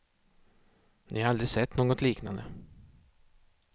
Ni har aldrig sett något liknande.